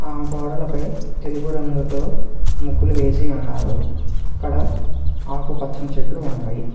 ఆ గోడలపై తెలుపు రంగుతో ముగ్గులు వేసి ఉన్నారు అక్కడ ఆకుపచ్చని చెట్లు ఉన్నాయి.